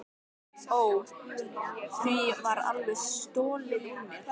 Ó, því var alveg stolið úr mér.